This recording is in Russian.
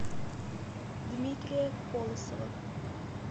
дмитрия колосова